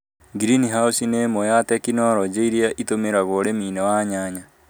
ngirinihaũci nĩ ĩmwe ya tekinorojĩ iria itũmagĩrwo ũrĩmi-inĩ wa nyanya